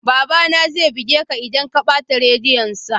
Babana zai buge ka idan ka bata rediyonsa